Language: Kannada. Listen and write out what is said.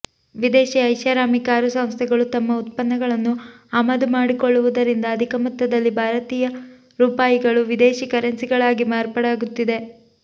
ವಿದೇಶಿ ಐಷಾರಾಮಿ ಕಾರು ಸಂಸ್ಥೆಗಳು ತಮ್ಮ ಉತ್ಪನ್ನಗಳನ್ನು ಆಮದು ಮಾಡಿಕೊಳ್ಳುವುದರಿಂದ ಅಧಿಕ ಮೊತ್ತದಲ್ಲಿ ಭಾರತೀಯ ರೂಪಾಯಿಗಳು ವಿದೇಶಿ ಕರೆನ್ಸಿಗಳಾಗಿ ಮಾರ್ಪಾಡಾಗುತ್ತಿದೆ